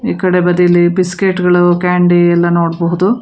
ಈ ಕಡೆ ಬದಿಯಲ್ಲಿ ಬಿಸ್ಕೆಟ್ ಗಳು ಕ್ಯಾಂಡಿ ಎಲ್ಲಾ ನೋಡಬಹುದು.